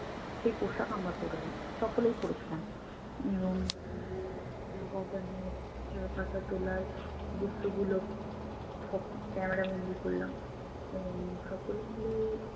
সেই পোশাক আমরা পরলাম। সকলেই পরেছিলাম এবং চা বাগানে চা পাতা তোলার দৃশ্যগুলো সব camera বন্দি করলাম এবং সকলে মিলে